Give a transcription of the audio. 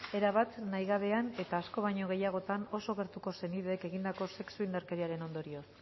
erabat nahigabean eta asko baino gehiagotan oso gertuko senideek egindako sexu indarkeriaren ondorioz